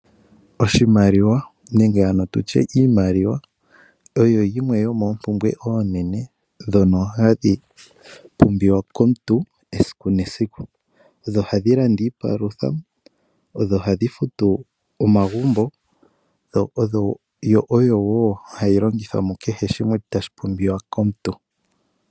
Oshimaliwa nenge ano tutye iimaliwa, oyo yimwe yomoompumbwe oonene dhono hadhi pumbiwa komuntu esiku nesiku, yo ohayi landa iipalutha, oyo hayi futu omagumbo, yo oyo wo hayi longithwa mukeheshimwe tashi pumbiwa komuntu.